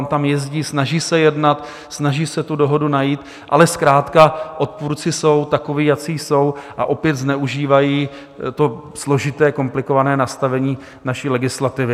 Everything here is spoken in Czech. On tam jezdí, snaží se jednat, snaží se tu dohodu najít, ale zkrátka odpůrci jsou takoví, jací jsou, a opět zneužívají to složité, komplikované nastavení naší legislativy.